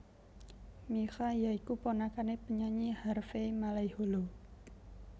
Mikha ya iku ponakané penyanyi Harvey Malaiholo